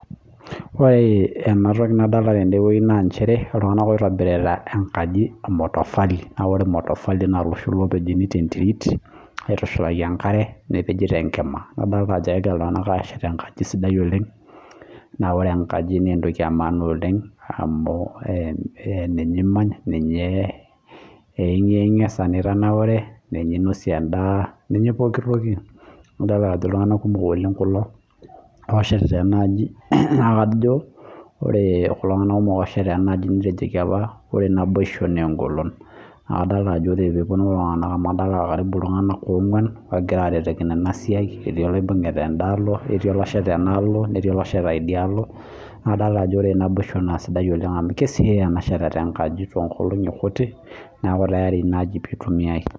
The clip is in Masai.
Ore enatoki nadolita tenewueji naa iltung'ana oitobirita enkaji emotofali naa ore motofali naa eloshi opejuni tee nterit aitushulaki enkare nepeji tenkima nadolita Ajo kegira iltung'ana ashet enkajit sidai oleng na ore enkaji naa entoki emaana oleng amu ninye emanya ninye eyinge esaa ninaure ninye enosie endaa ninye pooki toki naa edol Ajo iltung'ana kumok kulo oshetita ena ajii naa kajo ore kulo tung'ana oshetita ena ajii netejooki apa ore naboisho naa egolon naa kadolita Ajo ore pee epuonu kulo tung'ana amu adolita iltung'ana ong'uan ogira aretokino ena siai eti nadolita Ajo ore naboisho naa kisidai oleng amu kesiokini ashet enaaji neeku enaaji tayari pee eitumiai